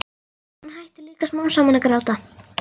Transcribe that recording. Og hún hættir líka smám saman að gráta.